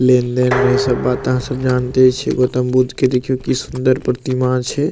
लेन-देन रहे सब बाता सब जानते छी गौतम बुद्ध के देखियो की सुंदर प्रतिमा छे।